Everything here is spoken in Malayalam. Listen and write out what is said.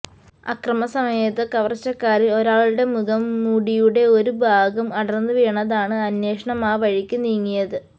അക്രമ സമയത്ത് കവർച്ചക്കാരിൽ ഒരാളുടെ മുഖം മൂടിയുടെ ഒരു ഭാഗം അടർന്ന് വീണതാണ് അന്വേഷണം ആ വഴിക്ക് നീങ്ങിയത്